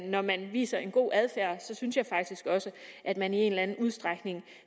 når man viser en god adfærd synes jeg faktisk også at man i en eller anden udstrækning